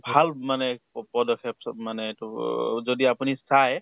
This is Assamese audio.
ভাল মানে পদক্ষেপ চ মানে এইটো অ যদি আপুনি চাই